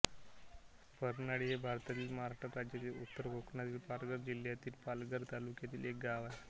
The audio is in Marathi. परनाळी हे भारतातील महाराष्ट्र राज्यातील उत्तर कोकणातील पालघर जिल्ह्यातील पालघर तालुक्यातील एक गाव आहे